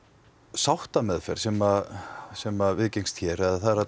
sáttameðferð sem sem viðgengst hér